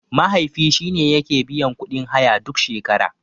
Mahaifi shine yake biyan kuɗin haya duk shekara.